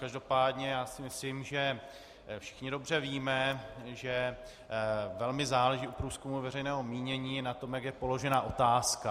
Každopádně si myslím, že všichni dobře víme, že velmi záleží u průzkumu veřejného mínění na tom, jak je položena otázka.